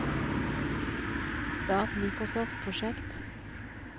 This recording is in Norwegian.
start Microsoft Project